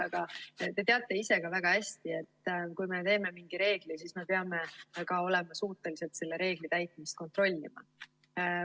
Aga te teate ise ka väga hästi, et kui me teeme mingi reegli, siis me peame ka olema suutelised selle reegli täitmist kontrollima.